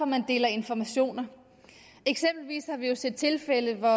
man deler informationer eksempelvis har vi jo set tilfælde hvor